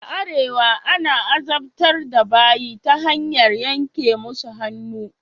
A arewa ana azabtar da barayi ta hanyar yanke musu hannu.